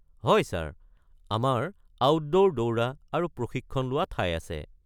হয় ছাৰ, আমাৰ আউটডোৰ দৌৰা আৰু প্ৰশিক্ষণ লোৱা ঠাই আছে।